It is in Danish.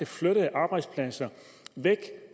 flyttede arbejdspladser væk